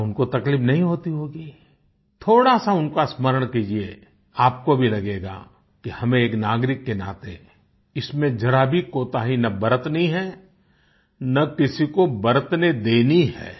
क्या उनको तकलीफ नहीं होती होगी थोड़ा सा उनका स्मरण कीजिये आपको भी लगेगा कि हमें एक नागरिक के नाते इसमें जरा भी कोताही ना बरतनी है और न किसी को बरतने देनी है